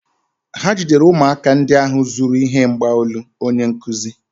Ha jidere ụmụaka ndị ahụ zuru ihe mgbaolu onye nkụzi ha.